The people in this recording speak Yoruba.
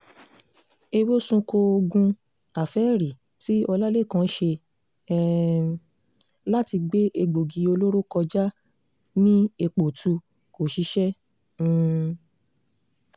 èwe sunko oògùn àfẹ́ẹ̀rí tí ọlálékàn ṣe um láti gbé egbòogi olóró kọjá ní èépoòtù kò ṣiṣẹ́ um